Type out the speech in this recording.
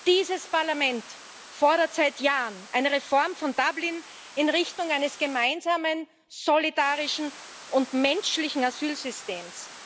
Dieses Parlament fordert seit Jahren eine Reform von Dublin in Richtung eines gemeinsamen, solidarischen und menschlichen Asylsystems.